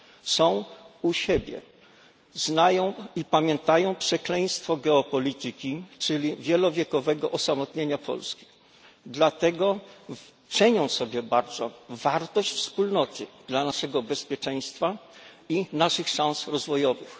Są u siebie, znają i pamiętają przekleństwo geopolityki czyli wielowiekowego osamotnienia Polski, dlatego cenią sobie bardzo wartość wspólnoty dla naszego bezpieczeństwa i naszych szans rozwojowych.